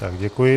Tak děkuji.